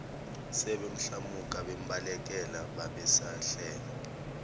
sebemhlamuka bembalekela babesahleka